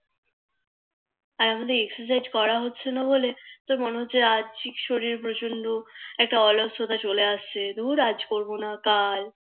আর আমাদের Exercise করা হচ্ছে না বলে তোর মনে হচ্ছে আর্থিক শরীর প্রচন্ড একটা অলসতা চলে আসছে দূর আজ করবো না কাল